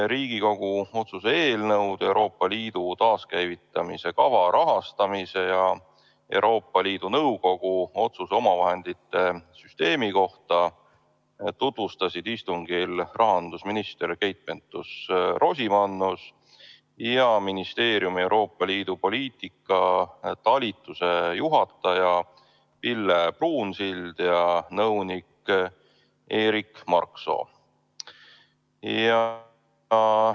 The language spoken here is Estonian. Riigikogu otsuse "Euroopa Liidu taaskäivitamise kava rahastamise ja Euroopa Liidu Nõukogu otsuse omavahendite süsteemi kohta heakskiitmine" eelnõu tutvustasid istungil rahandusminister Keit Pentus-Rosimannus ning ministeeriumi Euroopa Liidu poliitika talituse juhataja Pille Pruunsild ja nõunik Erik Marksoo.